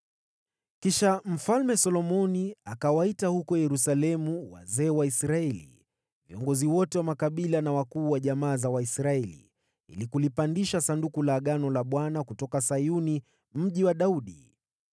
Kisha Solomoni akawaita huko Yerusalemu wazee wa Israeli, viongozi wote wa makabila na wakuu wa jamaa za Waisraeli, ili walilete Sanduku la Agano la Bwana kutoka Sayuni, Mji wa Daudi.